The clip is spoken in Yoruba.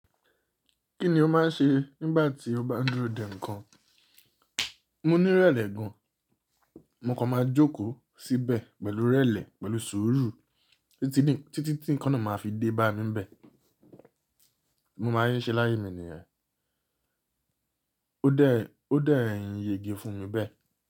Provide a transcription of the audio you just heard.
Kí ni o máa ń ṣe nígbà tí o bá ń dúró dè ńǹkan? Mo ní ìrẹlẹ gan, mo kọ máa jókòó síbẹ̀ pẹ̀lú irẹ́lẹ̀, pẹ̀lú sùúrù títí tí ǹkan náà máa fi dé bá mi bẹ́ẹ̀. Mo máa ń ṣe ṣe láyé mi nìyẹn. Ó dẹ̀, ó dẹ̀ ń yege fún mi bẹ́ẹ̀